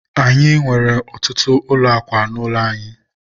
anyị nwere ọtụtụ ụlọ akwa n'ụlọ anyị.